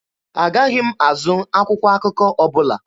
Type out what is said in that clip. Agaghị m azụ akwụkwọ akụkọ ọbụla.